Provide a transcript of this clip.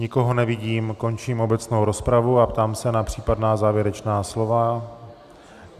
Nikoho nevidím, končím obecnou rozpravu a ptám se na případná závěrečná slova.